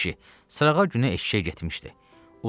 Yekə kişi, sırağa günü eşşəyə getmişdi.